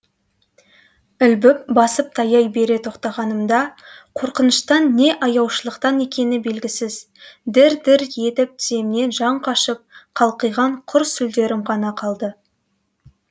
ілбіп басып таяй бере тоқтағанымда қорқыныштан не аяушылықтан екені белгісіз дір дір етіп тіземнен жан қашып қалқиған құр сүлдерім ғана қалды